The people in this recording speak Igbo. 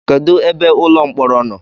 Kedụ ebe ụlọ mkpọrọ nọ?